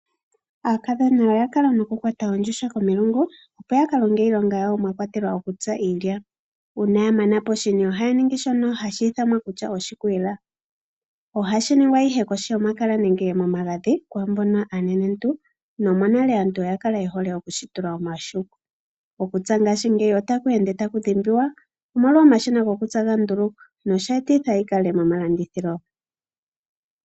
Aakadhona oya kala nokukwata ondjuhwa komulungu, opo ya ka longe iilonga yawo mwa kwatelwa okutsa iilya. Uuna ya mana poshini ohaya ningi shono hashi ithanwa kutya oshikwiila. Ohashi ningwa ihe kohi yomakala nenge momagadhi kwaa mbono aanenenentu nomonale aantu oya kala ye hole oku shi tula omahuku. Okutsa ngaashingeyi ota ku ende taku dhimbiwa, omolwa omashina gokutsa ngoka ga ndulukwa. Oshe etitha yi kale momalandithilo.